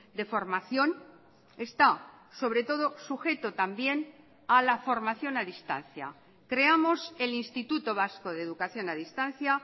de formación está sobre todo sujeto también a la formación a distancia creamos el instituto vasco de educación a distancia